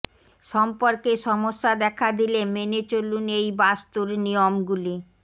সম্পর্কে সমস্যা দেখা দিলে মেনে চলুন এই বাস্তুর নিয়মগুলি